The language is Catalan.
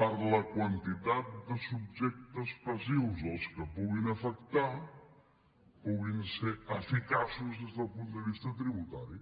per la quantitat de subjectes passius que puguin afectar puguin ser eficaços des del punt de vista tributari